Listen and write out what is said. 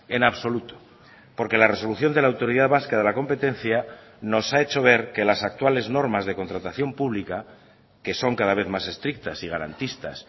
en absoluto porque la resolución de la autoridad vasca de la competencia nos ha hecho ver que las actuales normas de contratación pública que son cada vez más estrictas y garantistas